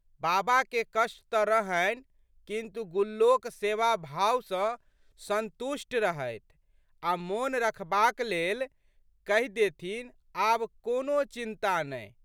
बाबके कष्ट तऽ रहनि किन्तु, गुल्लोक सेवाभाव सँ संतुष्ट रहथि आ' मोन रखबाक लेल कहि देथिन, आब कोनो चिंता नहि।